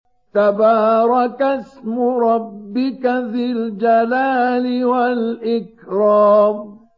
تَبَارَكَ اسْمُ رَبِّكَ ذِي الْجَلَالِ وَالْإِكْرَامِ